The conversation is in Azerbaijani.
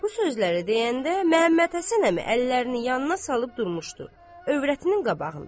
Bu sözləri deyəndə Məmməthəsən əmi əllərini yanına salıb durmuşdu övrətinin qabağında.